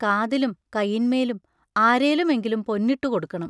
കാതിലും കയിന്മേലും അരേലുമെങ്കിലും പൊന്നിട്ടു കൊടുക്കണം.